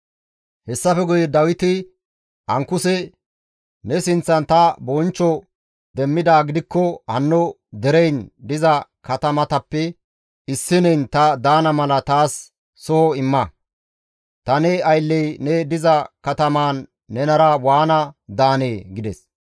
Hessafe guye Dawiti Ankuses, «Ne sinththan ta bonchcho demmidaa gidikko hanno dereyin diza katamatappe issineyn ta daana mala taas soho imma. Ta ne aylley ne diza katamaan nenara waana daanee?» gides.